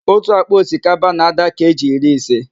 Otu ákpá osikapa na-ádà keeji iri ise